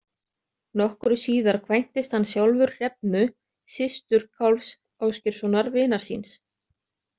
Nokkru síðar kvæntist hann sjálfur Hrefnu, systur Kálfs Ásgeirssonar vinar síns.